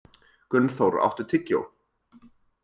Gunnþór, áttu tyggjó?